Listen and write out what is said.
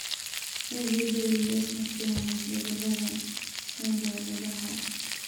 AVWS ma keeno isbeddellada hidda-wadaha.